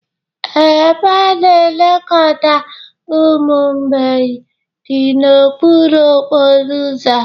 ee, ebe a na-elekọta ụmụ mgbei dị n'okpuru okporo ụzọ